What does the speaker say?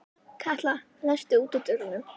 Katla, læstu útidyrunum.